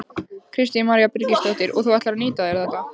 Kristín María Birgisdóttir: Og þú ætlar að nýta þér þetta?